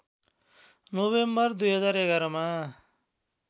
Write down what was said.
November २०११ मा